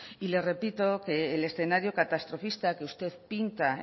le repito que el escenario catastrofista que usted pinta